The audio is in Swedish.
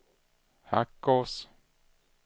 Hackås